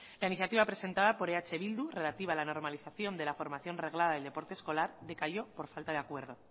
la iniciativa presentada por eh bildu relativa a la normalización de la formación reglada del deporte escolar decayó por falta de acuerdo